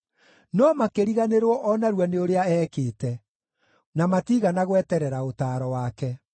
No makĩriganĩrwo o narua nĩ ũrĩa ekĩte, na matiigana gweterera ũtaaro wake.